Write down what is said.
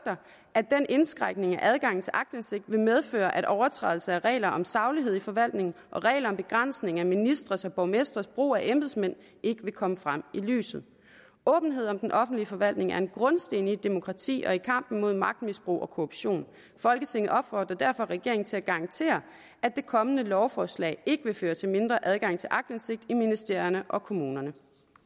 at den indskrænkning af adgangen til aktindsigt vil medføre at overtrædelse af regler om saglighed i forvaltning og regler om begrænsning af ministres og borgmestres brug af embedsmænd ikke vil komme frem i lyset åbenhed om den offentlige forvaltning er en grundsten i et demokrati og i kampen mod magtmisbrug og korruption folketinget opfordrer derfor regeringen til at garantere at det kommende lovforslag ikke vil føre til mindre adgang til aktindsigt i ministerierne og kommunerne